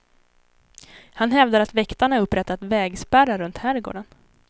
Han hävdar att väktarna upprättat vägspärrar runt herrgården.